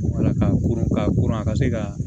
Wala ka koron ka koron a ka se ka